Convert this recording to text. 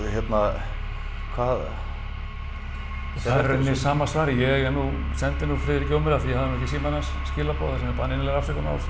hérna hvað það er í raun sama svarið ég er nú sendi nú Friðriki Ómari af því ég hafði ekki símann hans skilaboð þar sem hann innilegrar afsökunar á þessu